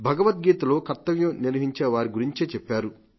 భగవద్గీతలో కర్తవ్యం నిర్వహించేవారి గురించే చెప్పారు